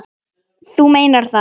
Þú meinar það.